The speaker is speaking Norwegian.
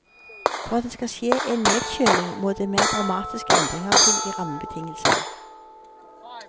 For at det skal skje en nedkjøling må det mer dramatiske endringer til i rammebetingelsene.